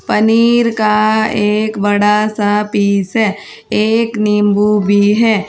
पनीर का एक बड़ा सा पीस है एक नींबू भी है।